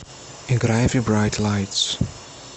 играй зе брайт лайтс